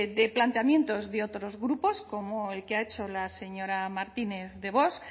de planteamientos de otros grupos como el que ha hecho la señora martínez de vox